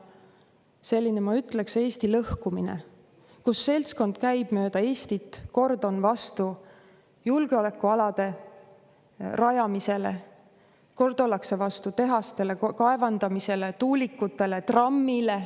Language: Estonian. Selline, ma ütleksin, Eesti lõhkumine, kus üks seltskond käib mööda Eestit ja kord on vastu julgeolekualade rajamisele, kord ollakse vastu tehastele, kaevandamisele, tuulikutele, trammile.